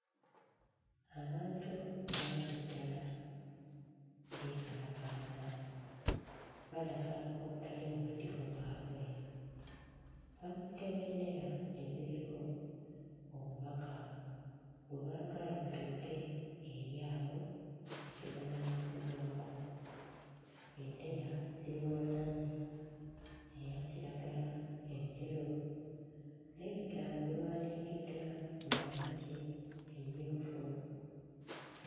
Abantu bangi ddala beekalakaasa balaga obutali bumativu bwabwe bakutte bendera eziriko obubaka bwe baagala butuuke eri abo be kivunaanyizibwako. Bendera ziri mu langi eya kiragala, enjeru n'ebigambo biwandiikiddwa mu langi emmyufu.